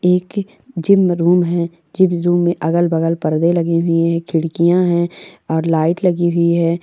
एक gym room हैं gym room में अगल-बगल पर्दे लगे हुए हैं खिड़किया हैं और लाइट लगी हुई हैं।